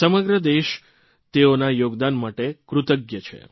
સમગ્ર દેશ તેઓના યોગદાન માટે કૃતજ્ઞ છે